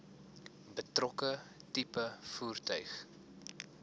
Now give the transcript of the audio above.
betrokke tipe voertuig